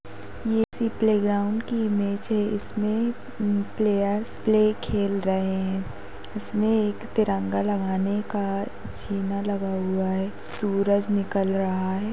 हे किसी playground की image है ईसमे प्लेयर्स प्ले खेल रहे है इसमे एक तिरंगा लगाने का जीना लगा हुआ है सूरज निकल रहा है।